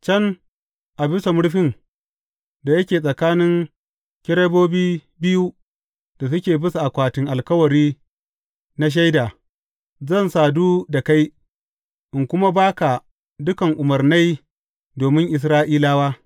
Can, a bisa murfin da yake tsakanin kerubobi biyu da suke bisa akwatin alkawari na Shaida, zan sadu da kai, in kuma ba ka dukan umarnai domin Isra’ilawa.